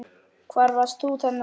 Hvar varst þú þennan dag?